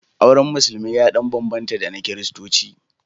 Auren Musulmi ya ɗan bambanta da na Kiristanci.